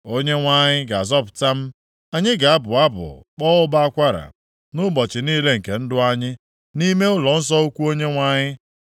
Onyenwe anyị ga-azọpụta m, anyị ga-abụ abụ kpọọ ụbọ akwara nʼụbọchị niile nke ndụ anyị, nʼime ụlọnsọ ukwu Onyenwe anyị.